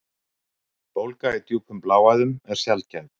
Bólga í djúpum bláæðum er sjaldgæf.